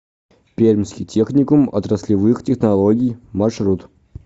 пермский техникум отраслевых технологий маршрут